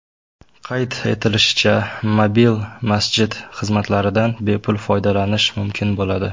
Qayd etilishicha, mobil masjid xizmatlaridan bepul foydalanish mumkin bo‘ladi.